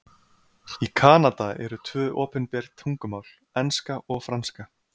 Í Kanada eru tvö opinber tungumál, enska og franska.